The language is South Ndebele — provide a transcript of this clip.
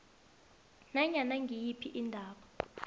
nanyana ngiyiphi indaba